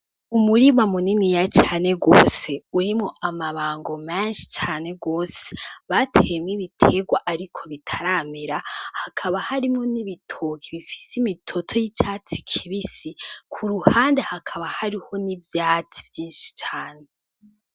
Umurima muniniya cane gose urimwo amabango menshi cane gose bateyemwo ibitegwa ariko bitaramera hakaba harimwo n'ibitoki bifise imitoto y'icatsi kibisi, ku ruhande hakaba hariho n'ivyatsi vyinshi cane.